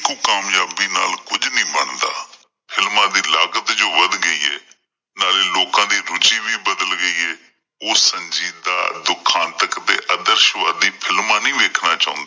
ਕਾਮਯਾਬੀ ਨਾਲ ਕੁਝ ਨਹੀਂ ਬਣਦਾ films ਦੀ ਲਾਗਤ ਜੋ ਵੱਧ ਗਈ ਏ ਨਾਲੇ ਲੋਕਾਂ ਦੀ ਰੁਚੀ ਵੀ ਬਦਲ ਗਈ ਏ ਉਹ ਸਜੀਦਾਂ ਦੁੱਖਾਂ ਤੱਕ ਦੇ ਅਦਰਸ਼ਵਾਦੀ films ਨਹੀਂ ਵੇਖਣਾ ਚਾਹੁੰਦੇ।